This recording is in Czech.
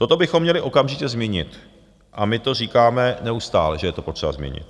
Toto bychom měli okamžitě změnit a my to říkáme neustále, že je to potřeba změnit.